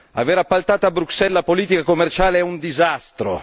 Aver appaltato a Bruxelles la politica commerciale è un disastro!